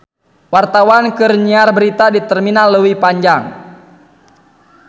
Wartawan keur nyiar berita di Terminal Leuwi Panjang